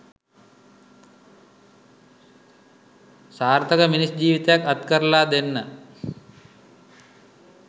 සාර්ථක මිනිස් ජීවිතයක් අත්කරලා දෙන්න